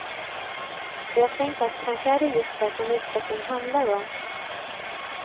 Och jag tänker att kanske är det just det som utveckling handlar om.